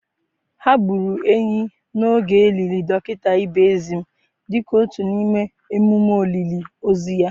Ha gburu ehi n'oge e liri dọkịta Ibezim dịka otu n'ime emume olili ozu ha.